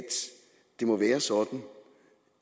det må være sådan